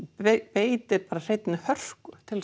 beitir bara hreinni hörku til